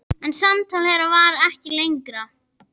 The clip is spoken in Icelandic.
En samtal þeirra varð ekki lengra.